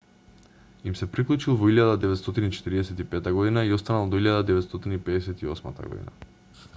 им се приклучил во 1945 година и останал до 1958 година